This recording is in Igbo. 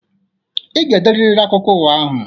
Ị ga-ederiri akụkọ ụwa ahụ.